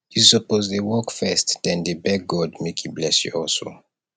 you suppose dey work first den dey beg god make im bless your hustle